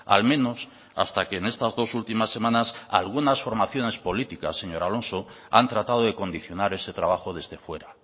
al menos hasta que en estas dos últimas semanas algunas formaciones políticas señor alonso han tratado de condicionar ese trabajo desde fuera